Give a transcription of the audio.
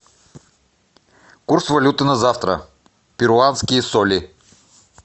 курс валюты на завтра перуанские соли